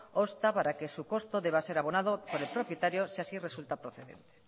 obsta para que su costo deba ser abonado por el propietario si así resulta procedente